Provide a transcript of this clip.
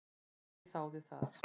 Gaui þáði það.